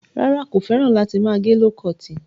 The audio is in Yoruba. Rárá, kò fẹ́ràn láti máa gẹ ló kọọ̀tì.